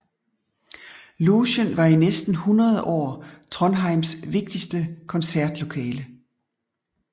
Logen var i næsten hundrede år Trondheims vigtigste koncertlokale